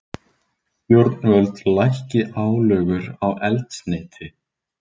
Stjórnvöld lækki álögur á eldsneyti